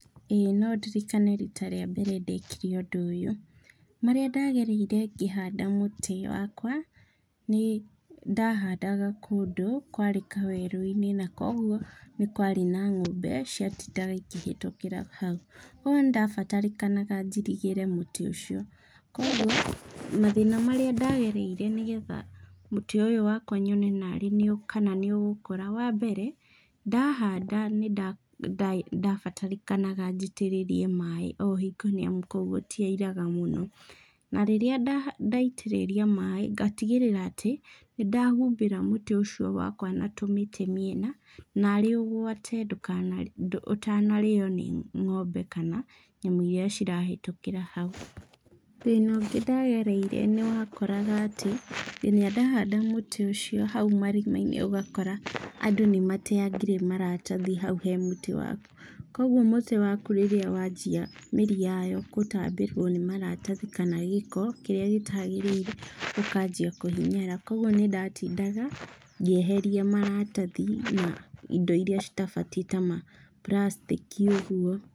Ĩĩ no ndirikane rita rĩa mbere ndekire ũndũ ũyũ. Marĩa ndagereire ngĩhanda mũtĩ wakwa, nĩ nĩ ndahandaga kũndũ kwarĩ kawerũ-inĩ na kuoguo nĩ kwarĩ na ng'ombe ciatindaga ikĩhĩtũkĩra hau. Kuoguo nĩ ndabatarĩkanaga njirigĩre mũtĩ ũcio, kuoguo, mathĩna marĩa ndagereire nĩgetha mũtĩ ũyũ wakwa nyone narĩ nĩũ kana nĩũgũkũra. Wambere, ndahanda nĩ ndabatarĩkanaga njitĩrĩrie maĩ o hingio nĩamu gũtiairaga mũno. Na, rĩrĩa ndaitĩrĩria maĩ ngatigĩrĩra aĩ nĩndahumbĩra mũtĩ ũcio wakwa na tũmĩtĩ mĩena, narĩ ũgwate ndũkana ũtanarĩo nĩ ng'ombe kana nyamũ iria cirahĩtũkĩra hau. Thĩna ũngĩ ndagereire, nĩwakoraga atĩ kinya ndahanda mũtĩ ũcio hau marima-inĩ ũgakora andũ nĩmateangire maratathi hau he mũtĩ wakwa. Kuoguo mũtĩ waku rĩrĩa wanjia mĩri yayo gũtambĩrwo nĩ maratathi kana gĩko kĩrĩa gĩtagĩrĩire, ũkanjia kũhinyara. Kuoguo nĩndatindaga ngĩeheria maratathi na indo iria citabatiĩ ta ma plastic i ũguo.